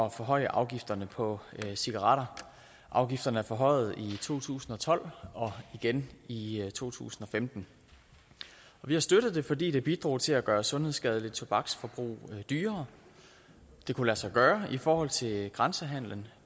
at forhøje afgifterne på cigaretter afgifterne blev forhøjet i to tusind og tolv og igen i to tusind og femten vi har støttet det fordi det bidrog til at gøre et sundhedsskadeligt tobaksforbrug dyrere det kunne lade sig gøre i forhold til grænsehandelen